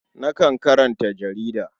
Nakan karanta jarida.